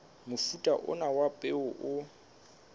mofuta ona wa peo o